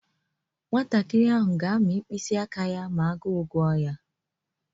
Nwantakịrị ahụ ga-amị mkpịsị aka ya ma agụụ guwa ya.